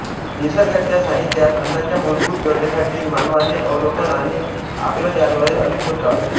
निसर्गाच्या सानिध्यात अन्नाच्या मुलभुत गरजेसाठी मानवाने अवलोकन आणि आकलन याद्वारे अनेक शोध लावले